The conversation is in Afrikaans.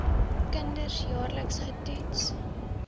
kinders jaarliks getoets